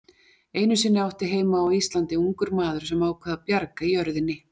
Einu sinni átti heima á Íslandi ungur maður sem ákvað að bjarga jörðinni.